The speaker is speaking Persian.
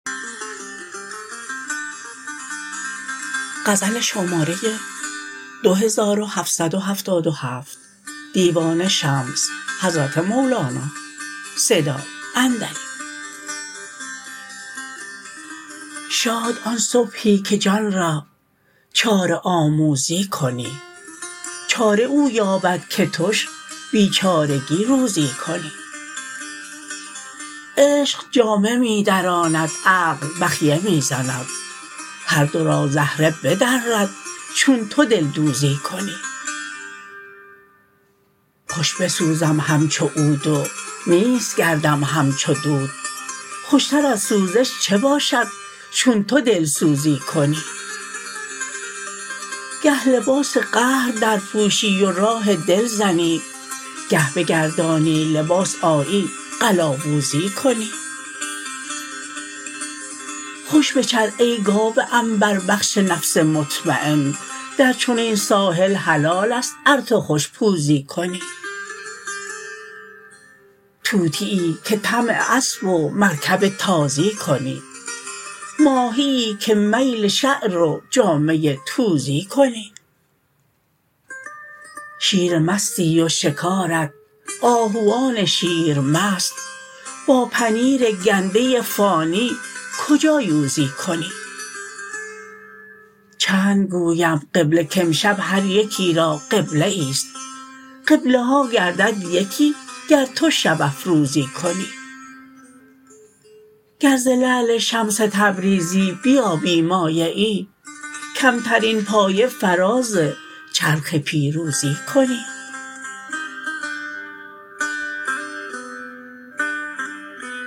شاد آن صبحی که جان را چاره آموزی کنی چاره او یابد که تش بیچارگی روزی کنی عشق جامه می دراند عقل بخیه می زند هر دو را زهره بدرد چون تو دلدوزی کنی خوش بسوزم همچو عود و نیست گردم همچو دود خوشتر از سوزش چه باشد چون تو دلسوزی کنی گه لباس قهر درپوشی و راه دل زنی گه بگردانی لباس آیی قلاووزی کنی خوش بچر ای گاو عنبربخش نفس مطمین در چنین ساحل حلال است ار تو خوش پوزی کنی طوطیی که طمع اسب و مرکب تازی کنی ماهیی که میل شعر و جامه توزی کنی شیر مستی و شکارت آهوان شیرمست با پنیر گنده فانی کجا یوزی کنی چند گویم قبله کامشب هر یکی را قبله ای است قبله ها گردد یکی گر تو شب افروزی کنی گر ز لعل شمس تبریزی بیابی مایه ای کمترین پایه فراز چرخ پیروزی کنی